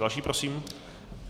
Další prosím.